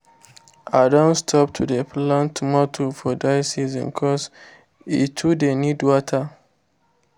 i don stop to dey plant tomatoe for dry season cos e too dey need water